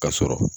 Ka sɔrɔ